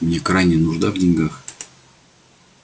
мне крайняя нужда в деньгах